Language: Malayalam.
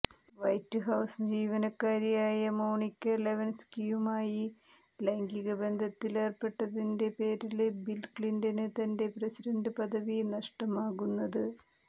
വൈറ്റ് ഹൌസ് ജിവനക്കാരിയായ മോണിക ലെവന്സ്കിയുമായി ലൈംഗിക ബന്ധത്തില് ഏര്പ്പെട്ടതിന്റെ പേരിലാണ് ബില് ക്ലിന്റണിന് തന്റെ പ്രസിഡന്റ് പദവി നഷ്ടമാകുന്നത്